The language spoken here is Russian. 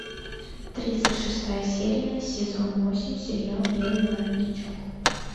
тридцать шестая серия сезон восемь сериал белый воротничок